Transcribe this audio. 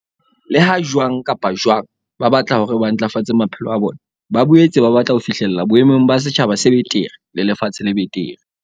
Leha jwang kapa jwang ba batla hore ba ntlafatse maphelo a bona, ba boetse ba batla ho fi hlella boemong ba setjhaba se betere le lefatshe le betere.